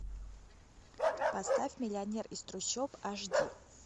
поставь миллионер из трущоб аш ди